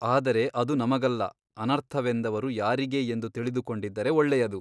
ಆದರೆ ಅದು ನಮಗಲ್ಲ ಅನರ್ಥವೆಂದವರು ಯಾರಿಗೆ ಎಂದು ತಿಳಿದುಕೊಂಡಿದ್ದರೆ ಒಳ್ಳೆಯದು.